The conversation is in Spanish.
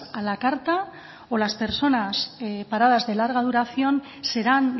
a la carta o las personas paradas de larga duración serán